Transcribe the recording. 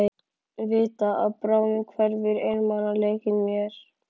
Vita að bráðum hverfur einmanaleikinn mér.